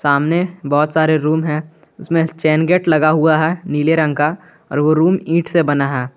सामने बहोत सारे रूम है उसमें चैन गेट लगा हुआ है नीले रंग का और वो रूम इट से बना है।